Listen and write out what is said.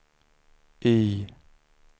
Y